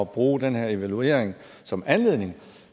bruge den her evaluering som anledning